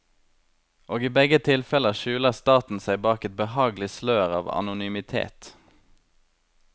Og i begge tilfeller skjuler staten seg bak et behagelig slør av anonymitet.